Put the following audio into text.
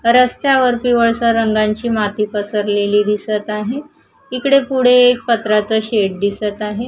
रस्त्यावर पिवळसर रंगांची माती पसरलेली दिसत आहे इकडे पुढे एक पत्र्याचा शेड दिसत आहे.